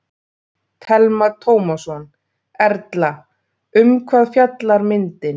Telma Tómasson: Erla, um hvað fjallar myndin?